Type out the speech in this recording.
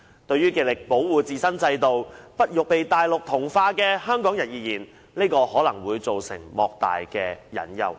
對於極力保護自身制度，不欲被內地同化的香港人而言，這可能會帶來莫大的隱憂。